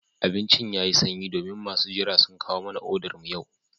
Abincin yayi sanyi domin masu jira sun kawo mana odar mu yau